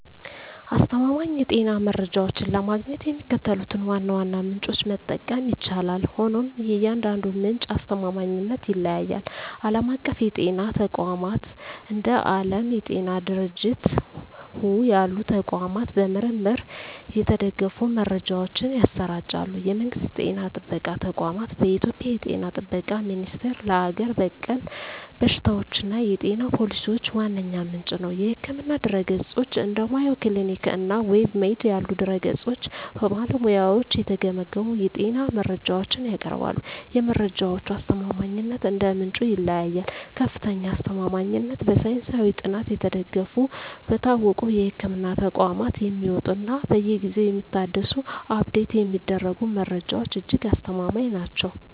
አስተማማኝ የጤና መረጃዎችን ለማግኘት የሚከተሉትን ዋና ዋና ምንጮች መጠቀም ይቻላል፤ ሆኖም የእያንዳንዱ ምንጭ አስተማማኝነት ይለያያል። ዓለም አቀፍ የጤና ተቋማት፦ እንደ ዓለም የጤና ድርጅት (WHO) ያሉ ተቋማት በምርምር የተደገፉ መረጃዎችን ያሰራጫሉ። የመንግስት ጤና ጥበቃ ተቋማት፦ በኢትዮጵያ የ ጤና ጥበቃ ሚኒስቴር ለሀገር በቀል በሽታዎችና የጤና ፖሊሲዎች ዋነኛ ምንጭ ነው። የሕክምና ድረ-ገጾች፦ እንደ Mayo Clinic እና WebMD ያሉ ድረ-ገጾች በባለሙያዎች የተገመገሙ የጤና መረጃዎችን ያቀርባሉ። የመረጃዎቹ አስተማማኝነት እንደ ምንጩ ይለያያል፦ ከፍተኛ አስተማማኝነት፦ በሳይንሳዊ ጥናት የተደገፉ፣ በታወቁ የሕክምና ተቋማት የሚወጡ እና በየጊዜው የሚታደሱ (Update የሚደረጉ) መረጃዎች እጅግ አስተማማኝ ናቸው።